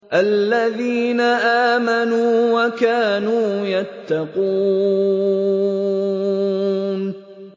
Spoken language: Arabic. الَّذِينَ آمَنُوا وَكَانُوا يَتَّقُونَ